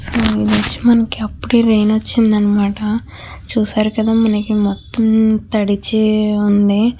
ఇది వచ్చి మనకి అప్పుడే రైన్ వచ్చిందన్నమాట చూశారు కదా మనకి మొత్తం తడిచే ఉంది.